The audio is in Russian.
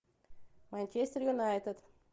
манчестер юнайтед